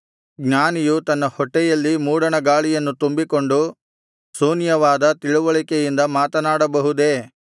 ಜ್ಞಾನಿಯು ತನ್ನ ಹೊಟ್ಟೆಯಲ್ಲಿ ಮೂಡಣ ಗಾಳಿಯನ್ನು ತುಂಬಿಕೊಂಡು ಶೂನ್ಯವಾದ ತಿಳಿವಳಿಕೆಯಿಂದ ಮಾತನಾಡಬಹುದೇ